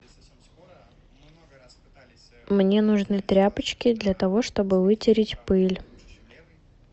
мне нужны тряпочки для того чтобы вытереть пыль